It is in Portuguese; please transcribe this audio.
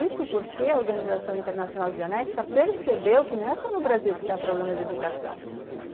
Isso porque a Organização Internacional Dianética percebeu que não é só no Brasil que está problema de educação.